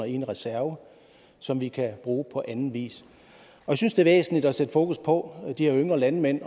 i en reserve som vi kan bruge på anden vis jeg synes det er væsentligt at sætte fokus på de her yngre landmænd i